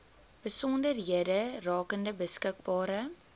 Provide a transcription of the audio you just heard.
besonderhede rakende beskikbare